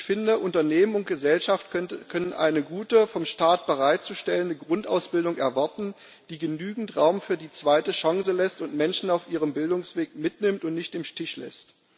Ich finde, Unternehmen und Gesellschaft können eine gute, vom Staat bereitzustellende Grundausbildung erwarten, die genügend Raum für die zweite Chance lässt und Menschen auf ihrem Bildungsweg mitnimmt und nicht im Stich lässt.